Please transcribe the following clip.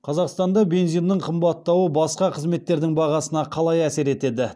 қазақстанда бензиннің қымбаттауы басқа қызметтердің бағасына қалай әсер етеді